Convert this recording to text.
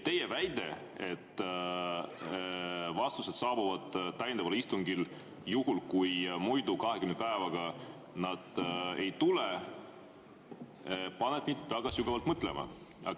Teie väide, et vastused saabuvad täiendaval istungil, juhul kui nad muidu 20 päevaga ei tule, paneb mind väga sügavalt mõtlema.